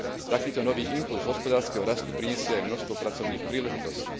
Takýto nový impulz hospodárskeho rastu prinesie aj množstvo pracovných príležitostí.